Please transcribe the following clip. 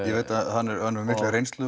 ég veit að hann hefur mikla reynslu